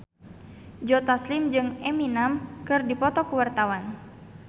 Joe Taslim jeung Eminem keur dipoto ku wartawan